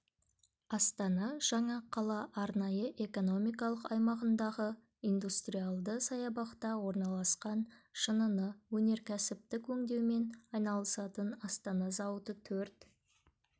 астана жаңа қала арнайы экономикалық аймағындағы индустриалды саябақта орналасқан шыныны өнеркәсіптік өңдеумен айналысатын астана зауыты төрт